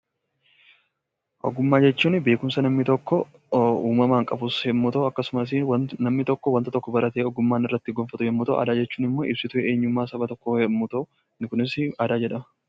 Ogummaa jechuun beekumsa namni tokko uumamaan qabus yommuu ta'u akkasumas namni tokko wanta tokko baratee ogummaa inni irratti gonfatu yoo ta'u, aadaa jechuun immoo ibsituu eenyummaa saba tokkoo yoo ta'u, inni kunis aadaa jedhama.